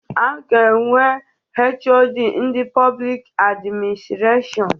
A ga-enwe HoD ndị Pọblik Administrashọn.